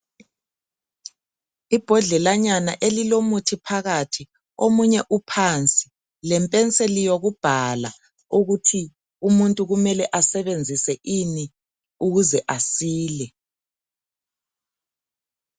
Ibhodlelanyana elilomuthi phakathi omunye uphansi lepeniseli yokubhala ukuthi umuntu kumele asebenzise ini ukuze asile.